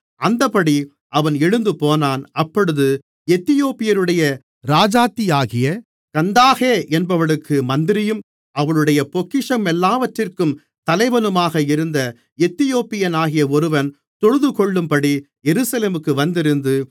அந்தப்படி அவன் எழுந்துபோனான் அப்பொழுது எத்தியோப்பியருடைய ராஜாத்தியாகிய கந்தாகே என்பவளுக்கு மந்திரியும் அவளுடைய பொக்கிஷமெல்லாவற்றிற்கும் தலைவனுமாக இருந்த எத்தியோப்பியனாகிய ஒருவன் தொழுதுகொள்ளும்படி எருசலேமுக்கு வந்திருந்து